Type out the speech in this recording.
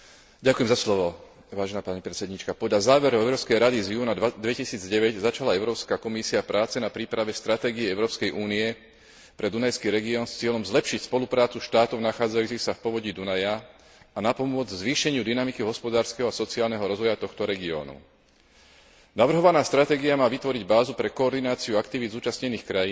Podľa záverov Európskej rady z júna 2009 začala Európska komisia práce na príprave Stratégie Európskej únie pre Dunajský región s cieľom zlepšiť spoluprácu v štátoch nachádzajúcich sa v povodí Dunaja a napomôcť zvýšeniu dynamiky hospodárskeho a sociálneho rozvoja tohto regiónu. Navrhovaná stratégia má vytvoriť bázu pre koordináciu aktivít zúčastnených krajín v rámci súčasných programov Európskej únie,